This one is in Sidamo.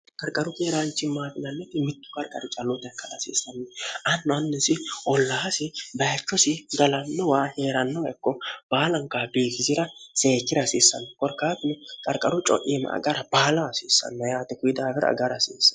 qarqaru heeraanchi maafinannoti mittu qarqari calloota hekkal hasiissanni anno annisi ollaasi bayichosi galannowa hee'rannoekko baalaankaabbiigizira seekkira hasiissanno korkaatini qarqaru co'iima agara baala hasiissanna yaate kuyi daawira agara hasiisne